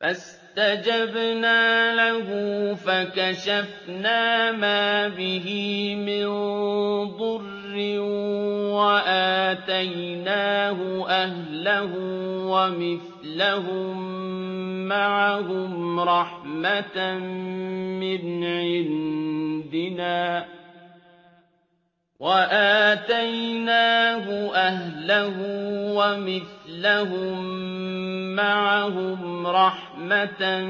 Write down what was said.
فَاسْتَجَبْنَا لَهُ فَكَشَفْنَا مَا بِهِ مِن ضُرٍّ ۖ وَآتَيْنَاهُ أَهْلَهُ وَمِثْلَهُم مَّعَهُمْ رَحْمَةً